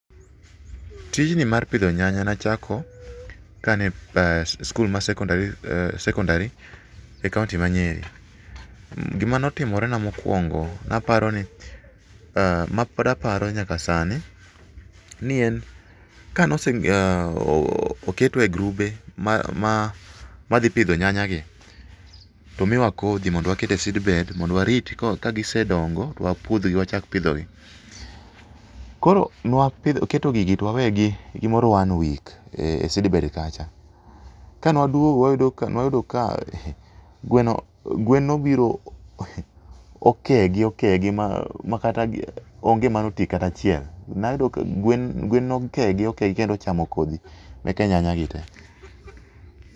Tijni mar pidho nyanya nachako kane an e skul mar secondary, secondary e kaunti ma Nyeri. Gimane otimore na mokuongo aparoni, mapod aparo nyaka sani ni en ,kane ose, oketwa e grube madhi pidho nyanya gi tomiwa kodhi mondo waket e seedbed mondo wariti ka gisedongo to wapudh gi wachak pidhogi. Koro nwa keto gigi to wawegi gimoro one week e seed bed kacha. Kane waduogo wayudo ka, nwa yudo ka, eeh, gweno, gwen obiro, eeh, okegi okegi makata onge mane otii kata achiel, gwen nokegi okegi kendo ochamo kodhi meke nyanya gi tee